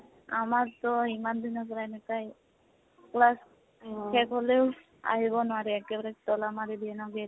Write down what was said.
আমাৰটো ইমান দিনৰ পৰা এনেকোৱাই। class শেষ হলেও আহিব নোৱাৰি, একেবাৰে তʼলা মাৰি দিয়ে ন gate